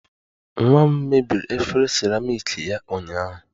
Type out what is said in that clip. Nwa m mebiri efere seramiiki ya ụnyaahụ